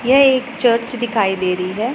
यह एक चर्च दिखाई दे रहीं हैं।